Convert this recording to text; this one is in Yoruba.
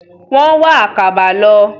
Wọ́n wá àkàbà lọ.